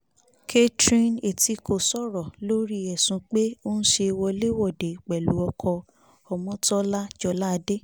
catherine etíko sọ̀rọ̀ lórí ẹ̀sùn pé ó ń ṣe wọlé-wọ̀de pẹ̀lú ọkọ̀ ọmọńtólàla joládé